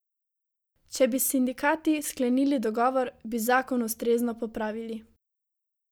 Če bi s sindikati sklenili dogovor, bi zakon ustrezno popravili.